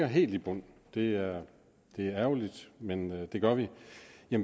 helt i bund det er ærgerligt men det gør vi